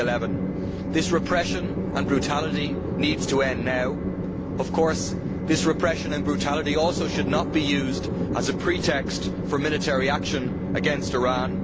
2011. This repression and brutality needs to end now. Of course, this repression and brutality also should not be used as a pretext for military action against Iran.